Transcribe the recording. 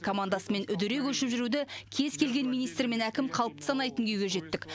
командасымен үдере көшіп жүруді кез келген министр мен әкім қалыпты санайтын күйге жеттік